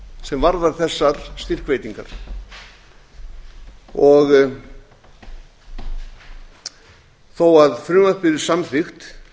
sem varðar þessar styrkveitingar og þó að frumvarpið yrði samþykkt